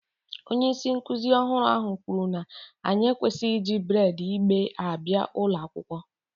Onye isi nkuzi ọhụrụ ahụ kwuru na anyị ekwesịghị iji braid igbe abịa ụlọ akwụkwọ